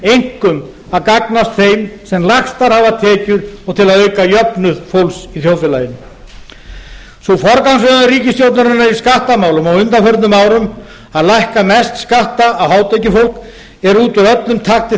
einkum að gagnast þeim sem lægstar hafa tekjur og til að auka jöfnuð fólks í þjóðfélaginu sú forgangsröðun ríkisstjórnarinnar í skattamálum á undanförnum árum að lækka mest skatta á hátekjufólk er út úr öllum takti